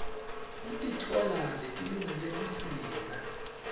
kukitoala letilungele busika